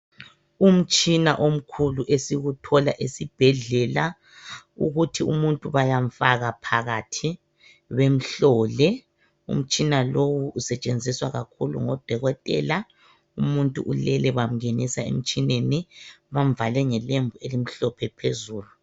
Umtshina omkhulu esiwuthola esibhedlela ukuthi umuntu bayamfaka phakathi bemhlole. Umtshina lowu usetshenziswa kakhulu ngodokotela. Umuntu ulele bamngenisa emtshineni bamvale ngelembu elimhlophe phezulu.